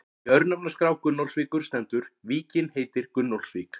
Í örnefnaskrá Gunnólfsvíkur stendur: Víkin heitir Gunnólfsvík.